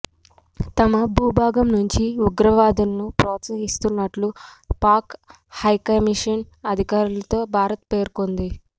తమ భూభాగం నుంచి ఉగ్రవాదులను ప్రోత్సహిస్తున్నట్లు పాక్ హైకమిషన్ అధికారితో భారత్ పేర్కొన్నది